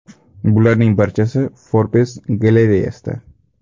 Bularning barchasi Forbes galereyasida .